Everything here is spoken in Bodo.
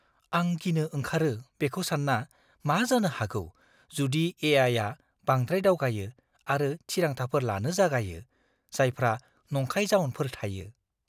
आं गिनो ओंखारो बेखौ सानना, मा जानो हागौ जुदि ए.आइ.आ बांद्राय दावगायो आरो थिरांथाफोर लानो जागायो, जायफ्रा नंखाय जाउनफोर थायो!